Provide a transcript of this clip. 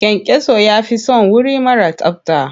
Kyankyaso ya fi son wuri mara tsabta.